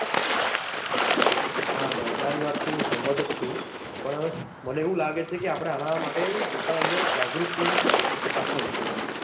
હા ભાઈ તારી વાત થી હું સહેમત જ છુ પણ મને એવું લાગે છે કે આપણે આના માટે લોકો ના અંદર જાગૃતિ દાખવવી જોઈએ